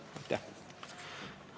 Aitäh!